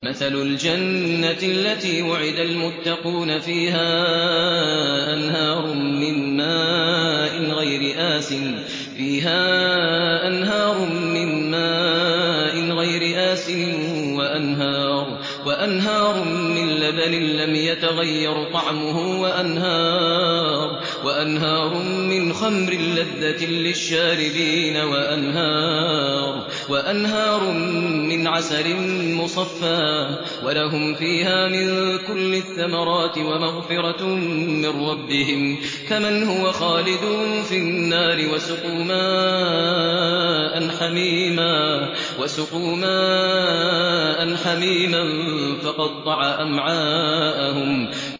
مَّثَلُ الْجَنَّةِ الَّتِي وُعِدَ الْمُتَّقُونَ ۖ فِيهَا أَنْهَارٌ مِّن مَّاءٍ غَيْرِ آسِنٍ وَأَنْهَارٌ مِّن لَّبَنٍ لَّمْ يَتَغَيَّرْ طَعْمُهُ وَأَنْهَارٌ مِّنْ خَمْرٍ لَّذَّةٍ لِّلشَّارِبِينَ وَأَنْهَارٌ مِّنْ عَسَلٍ مُّصَفًّى ۖ وَلَهُمْ فِيهَا مِن كُلِّ الثَّمَرَاتِ وَمَغْفِرَةٌ مِّن رَّبِّهِمْ ۖ كَمَنْ هُوَ خَالِدٌ فِي النَّارِ وَسُقُوا مَاءً حَمِيمًا فَقَطَّعَ أَمْعَاءَهُمْ